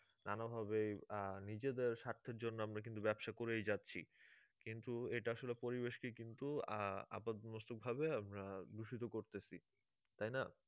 নানা ভাবে আহ নিজেদের সার্থের জন্য আমরা কিন্তু ব্যবসা করেই যাচ্ছি কিন্তু এটা আসলে পরিবেশকে কিন্তু আহ আপাদমস্তকভাবে আমরা দূষিত করতেছি তাই না?